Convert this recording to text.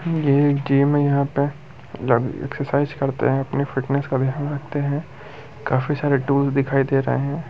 ये गेम है यहाँ पे जब एक्सरसाइज करते है अपनी फिटनेस का ध्यान रखते है। काफी सरे टूल नज़र आ रहे है।